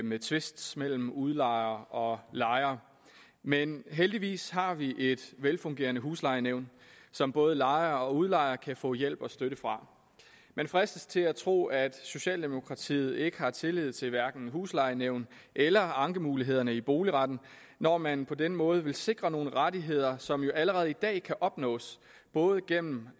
med tvist mellem udlejer og lejer men heldigvis har vi et velfungerende huslejenævn som både lejer og udlejer kan få hjælp og støtte fra man fristes til at tro at socialdemokratiet ikke har tillid til hverken huslejenævn eller ankemulighederne i boligretten når man på den måde vil sikre nogle rettigheder som jo allerede i dag kan opnås både igennem